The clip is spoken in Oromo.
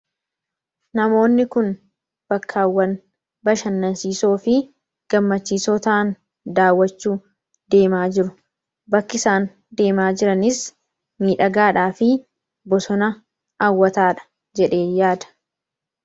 Namoonni kun bakkaawwan bashanansiisoofi gammachiisoo ta'an daawwachuuf deemaa jiru. Bakki isaan deemaa jiranis miidhagaadhaafi bosona hawwataadha. Jedheeen yaada.